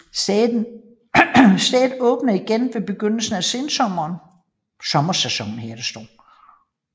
Stedet åbnede igen ved begyndelsen af sommersæsonen